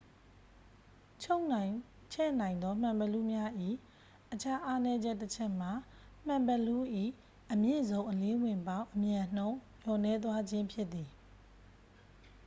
ချုံ့နိုင်ချဲ့နိုင်သောမှန်ဘီလူးများ၏ အခြားအားနည်းချက်တချက်မှာ မှန်ဘီလူး၏ အမြင့်ဆုံးအလင်းဝင်ပေါက် အမြန်နှုန်း လျော့နည်းသွားခြင်းဖြစ်သည်။